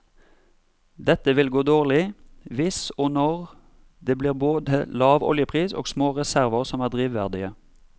Dette vil gå dårlig hvis og når det blir både lav oljepris og små reserver som er drivverdige.